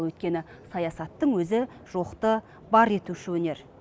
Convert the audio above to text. өйткені саясаттың өзі жоқты бар етуші өнер